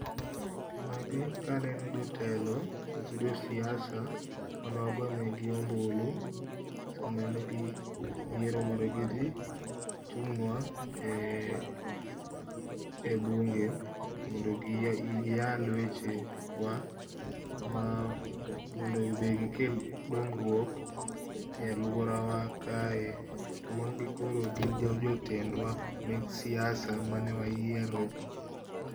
Magi ka aneni jotelo kose jo siasa, mane wagonegi ombulu samanegithi e yiero mondo mi gi thi chungnwa, e bunge mondo giyal wechewa ma wa, mondo be gikel jongruok e aluorawa kae to magi koro gi jitendwa mek siasa mane waiero .